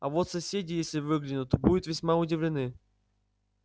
а вот соседи если выглянут будут весьма удивлены